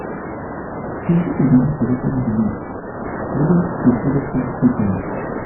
some pipo dey use traditional beliefs but dem still dey follow church teachings.